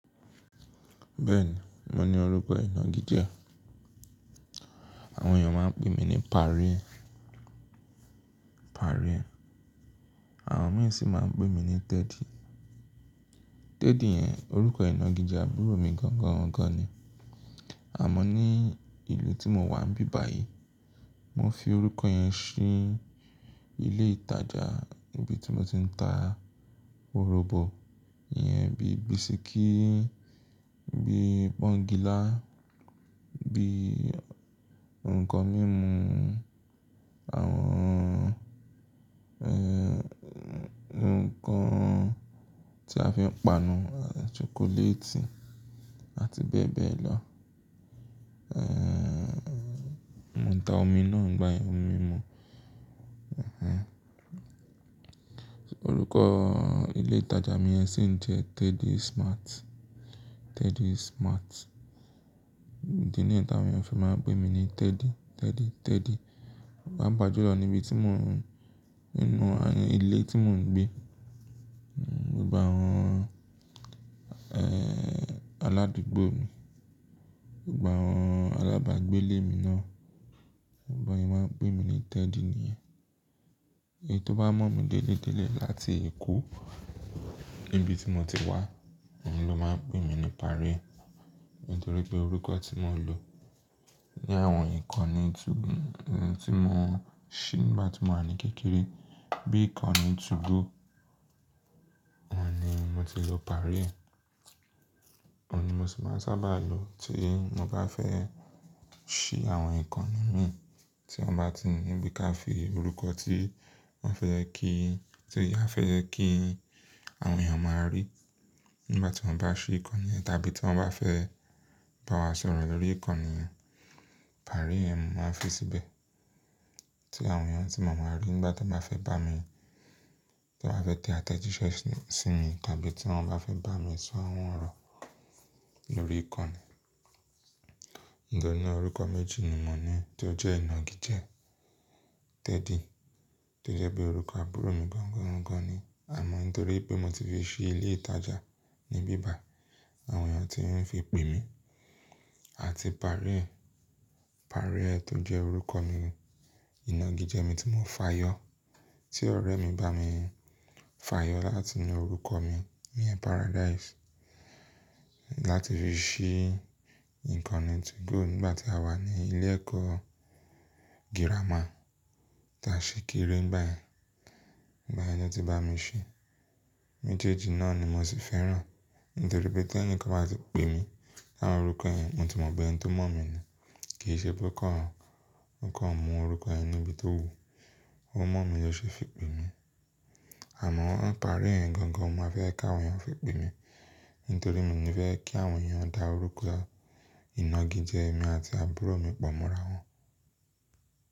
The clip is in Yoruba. Bẹ́ẹ̀ni, mo ní orúkọ ìnagijẹ. Àwọn èèyàn máa ń pè mí ní Pari e, Pari e. Àwọn mìí sì máa ń pè mí ní Teddy. Teddy yẹn orúkọ ìnagijẹ àbúrò mi gangan gangan ni. Àmọ́n ní ìlú tí mo wà ni bíbàyí, mo fi orúkọ yẹn ṣí ilé ìtajà ibi tí mo ti ń ta òròbò ìyẹn bí bisikíì, bí pọ́ńgilá, bí ǹkan mímu, àwọn ẹ̀, ǹkan tí a fi ń panu, ṣokoléètì àti bẹ́ẹ̀ bẹ́ẹ̀ lọ. Mo ń ta omi náà nígbàyẹn, omi mímu. Òrúkọ ilé ìtajà mi yẹn sì ń jẹ́ Teddy Smart, Teddy Smart. Ìdí ni yẹn tí àwọn èèyàn fi máa ń pè mí ní Teddy, Teddy, Teddy. Pa pa jù lọ níbi tí mò ń, nínú ilé tí mò ń gbé, gbogbo àwọn aládùúgbò mi, gbogbo àwọn alábàágbé ilé mi náà, bí wọ́n ṣe máa ń pè mí ní Teddy niyẹn. Èní tó bá mọ̀ mí délé délé láti èkó, níbi tí mo ti wá, òun ló máa ń pè mí ní Pari e. Nítorí pé orúkọ tímo ń lò ní àwọn ìkànnì 2go tí mo ṣí nígbà tí mò wa ní kékeré. Bí ìkànnì 2go, ó ní mo ti lọ Paris. Wọ́n ni mo sì máa sábà lò tí mo bá fẹ́ ṣí àwọn ìkànnì mi. Tí wọ́n bá ti ní bí ká fi orúkọ tí wọ́n fẹ́ kí, tí wọn a fẹ́ kí àwọn èèyàn a máa rí nígbà tí wọ́n bá ṣí ìkànnì ẹ́, tàbí tí wọ́n bá fẹ́ bá wa sọ̀rọ̀ lórí ìkànnì Paris yẹn ni mo máa fi síbẹ̀. Tí àwọn èèyàn tí màá máa rí nígbà tí wọ́n bá fẹ́ bá mi, tí wọ́n bá fẹ́ tẹ àtẹ̀jíṣẹ́ sí mi tàbí tí wọ́n bá fẹ́ bá mi sọ̀ àwọn orọ̀ lórí ìkànnì. Mo dé ni ní orúkọ méjì ni mò ní tó jẹ́ ìnagijẹ. Teddy, tó jẹ́ pé orúkọ àbúrò mi gangan ni. Àmọ́ nítorí pé mo ti fi ṣí ilé ìtajà ní ibi báyì, àwọn èèyàn ti ń fi pè mí. Àti Paris, Paris tó jẹ́ orúkọ mi, ìnagijẹ mi tí mò ń fàyọ́. Tí ọ̀rẹ́ mi bá mi fàyọ́ láti nu orúkọ mi ní Paradise. Láti fi ṣí ìkànnì 2go nígbà tí àwa ní ilé ẹ̀kọ́ girama. Tàṣi kéré nígbà yẹn. Nígbà yẹn ni ó ti bá mi ṣí. Méjèèjì náà ni mo sì fẹ́ràn. Nítorí pé tí ẹnìkan bá ti pè mí láwọn orúkọ yẹn, mo ti mọ̀ pé ẹni tó mọ̀ mí ni. Kì í ṣe pé ó kàn, ó kàn mọ orúkọ yẹn níbi tó wùú, ó mọ̀ mí ló ṣe fi pè mí. Àmọ́ Paris yẹn gangan ni mo máa fẹ́ kí àwọn èèyàn fi pè mí. Nítorí mi ò ní fẹ́ kí àwọn èèyàn dá orúkọ ìnagijẹ mi àti àbúrò mi pọ̀ mọ́ra wọn.